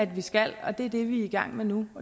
vi skal og det er det vi er i gang med nu